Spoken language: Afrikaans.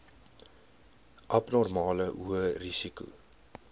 abnormale hoë risiko